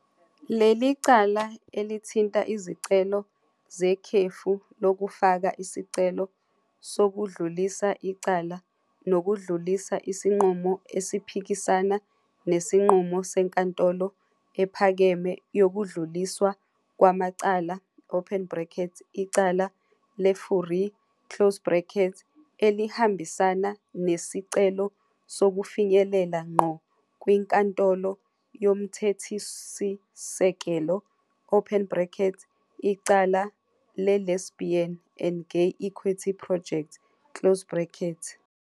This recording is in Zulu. Leli cala elithinta izicelo zekhefu lokufaka isicelo sokudlulisa icala nokudlulisa isinqumo esiphikisana nesinqumo seNkantolo Ephakeme Yokudluliswa Kwamacala, Icala "leFourie", elihambisana nesicelo sokufinyelela ngqo kwiNkantolo Yomthethosisekelo, icala "leLesbian and Gay Equity Project".